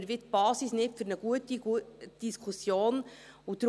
Dann werden wir die Basis für eine gute Diskussion nicht haben.